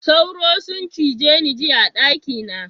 Tsoro sun cije ni jiya a daki na.